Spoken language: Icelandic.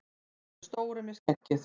Þessi stóri með skeggið!